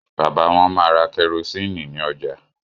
Bàbà wón má rà kerosiini ní ọjà.